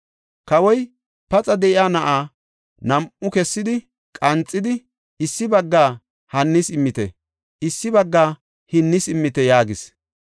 Kawoy, “Paxa de7iya na7aa nam7u kessidi qanxidi; issi baggaa hannis immite; issi baggaa hinnis immite” yaagis.